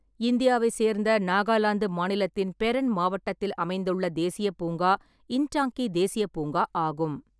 இந்தியாவை சேர்ந்த நாகாலாந்து மாநிலத்தின் பெரென் மாவட்டத்தில் அமைந்துள்ள தேசிய பூங்கா இன்டாங்க்கி தேசியப் பூங்கா ஆகும்.